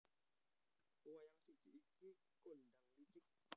Wayang siji iki kondhang licik